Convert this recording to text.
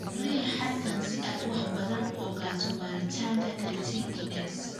Riix halkan si aad wax badan uga ogaato baaritaanka creatine kinase.